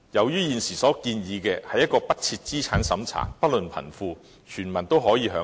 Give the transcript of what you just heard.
現時所建議的退休保障制度，不設資產審查，不論貧富，全民均可以享有。